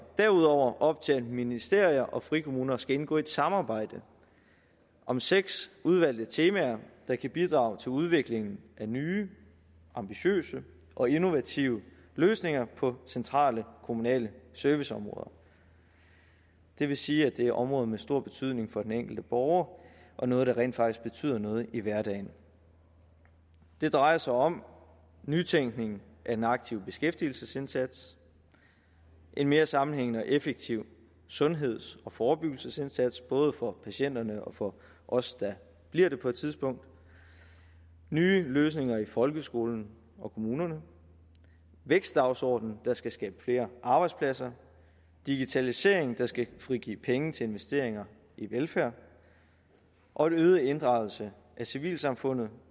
derudover op til at ministerier og frikommuner skal indgå et samarbejde om seks udvalgte temaer der kan bidrage til udviklingen af nye ambitiøse og innovative løsninger på centrale kommunale serviceområder det vil sige at det er områder med stor betydning for den enkelte borger og noget der rent faktisk betyder noget i hverdagen det drejer sig om nytænkning af den aktive beskæftigelsesindsats en mere sammenhængende og effektiv sundheds og forebyggelsesindsats både for patienterne og for os der bliver det på et tidspunkt nye løsninger i folkeskolen og kommunerne vækstdagsordenen der skal skabe flere arbejdspladser og digitalisering der skal frigive penge til investeringer i velfærd og en øget inddragelse af civilsamfundet